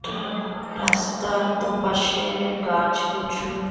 রাস্তার দুপাশে-এ গাছ প্রচুর।